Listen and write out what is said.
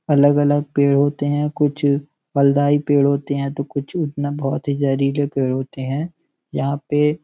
अलग अलग पेड़ होते हैं। कुछ फलदाई पेड़ होते हैं तो कुछ उतना बोहोत ही जहरीले पेड़ होते हैं। यहाँ पे --